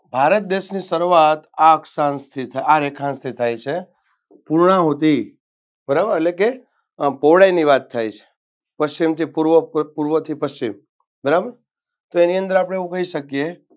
ભારત દેશની શરૂઆત આ અક્ષાંશથી આ રેખાંશથી થાય છે. પૂર્ણાહૂતિ બારાબર એટલે કે આ પહોળાઈની વાત થાય છે પશ્ચિમથી પૂર્વ પૂર્વથી પશ્ચિમ બરાબર તો એની અંદર આપણે એવું કહી શકીએ